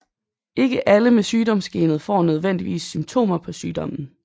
Ikke alle med sygdomsgenet får nødvendigvis symptomer på sygdommen